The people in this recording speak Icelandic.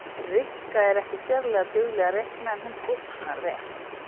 Rikka er ekki sérlega dugleg að reikna en hún teiknar vel